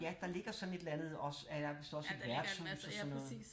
Ja der ligger sådan et eller andet også der er vidst også et værtshus og sådan noget